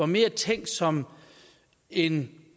mere er tænkt som en